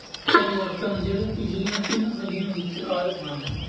ਪਰਿਵਰਤਨ ਜਿਹੜੇ ਪਿਛਲੀਆਂ ਤਿੰਨ ਸਦੀਆ ਵਿੱਚ ਆਏ ਹਨ